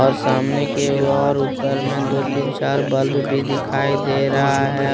ओर सामने के और ऊपर में दो तीन चार बल्ब भी दिखाई दे रहा है।